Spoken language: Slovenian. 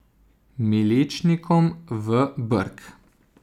Miličnikom v brk!